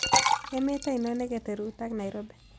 Emet ainon neketeruut ak nairobi